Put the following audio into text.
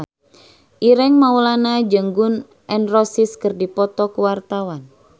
Ireng Maulana jeung Gun N Roses keur dipoto ku wartawan